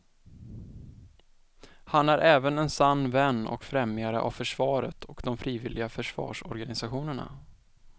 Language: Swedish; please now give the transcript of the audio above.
Han är även en sann vän och främjare av försvaret och de frivilliga försvarsorganisationerna.